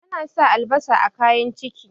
ana sa albasa a kayan ciki